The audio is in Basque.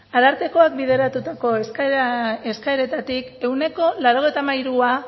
arartekoak bideratutako eskaeretatik ehuneko laurogeita hamairua